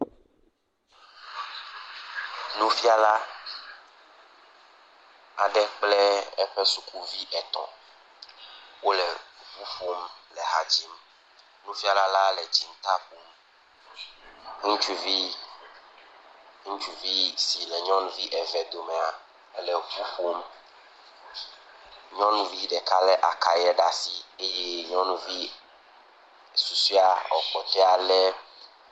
Nufiala aɖe kple eƒe sukuvi etɔ̃ wole ŋu ƒom le ha dzim. Nufiala la le dziŋta ƒom. Ŋutsuvi, ŋutsuvi si le nyɔnuvi eve domea le ŋu ƒom. Nyɔnuvi ɖeka lé akayɛ ɖe asi eye nyɔnuvi susue lo kpɔtɔea lé.